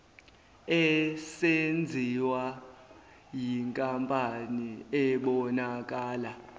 esenziwa yinkampani ebonakala